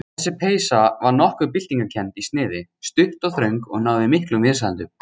Þessi peysa var nokkuð byltingarkennd í sniði, stutt og þröng og náði miklum vinsældum.